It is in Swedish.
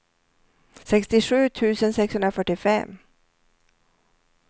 sextiosju tusen sexhundrafyrtiofem